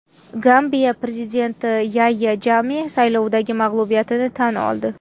Gambiya prezidenti Yayya Jamme saylovdagi mag‘lubiyatini tan oldi.